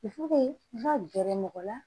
n ka gɛrɛ mɔgɔ la